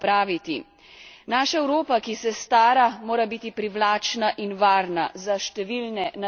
Naša Evropa, ki se stara, mora biti privlačna in varna za številne nadarjene mlade.